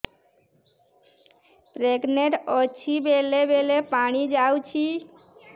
pregnant ଅଛି ବେଳେ ବେଳେ ପାଣି ଯାଉଛି